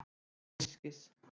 Allt til einskis.